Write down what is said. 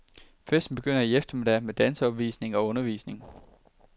Festen begynder i eftermiddag med danseopvisning og undervisning.